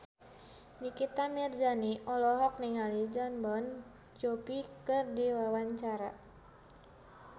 Nikita Mirzani olohok ningali Jon Bon Jovi keur diwawancara